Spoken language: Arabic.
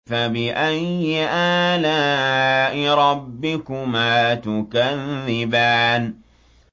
فَبِأَيِّ آلَاءِ رَبِّكُمَا تُكَذِّبَانِ